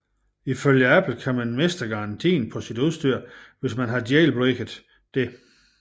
Ifølge Apple kan man miste garantien på sit udstyr hvis man har jailbreaket det